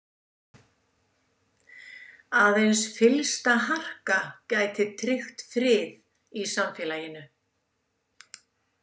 Aðeins fyllsta harka geti tryggt frið í samfélaginu.